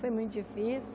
Foi muito difícil.